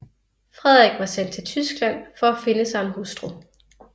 Frederik var sendt til Tyskland for at finde sig en hustru